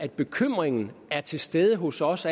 bekymringen er til stede hos os